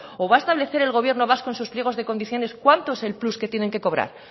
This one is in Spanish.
o va establecer el gobierno vasco en sus pliegos de condiciones cuánto es el plus que tienen que cobrar